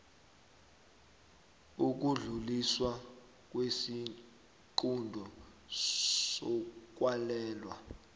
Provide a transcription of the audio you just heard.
ukudluliswa kwesiqunto sokwalelwa